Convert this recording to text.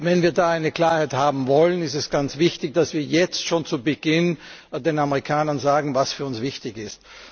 Wenn wir da Klarheit haben wollen, ist es ganz wichtig, dass wir jetzt schon zu Beginn den Amerikanern sagen, was für uns wichtig ist.